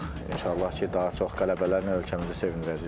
İnşallah ki, daha çox qələbələrlə ölkəmizi sevindirəcəyik.